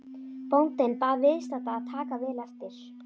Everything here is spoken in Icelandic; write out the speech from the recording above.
Bóndinn bað viðstadda að taka vel eftir.